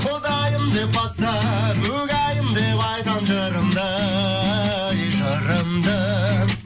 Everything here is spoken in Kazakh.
құдайым деп бастап угәйім деп айтам жырымды жырымды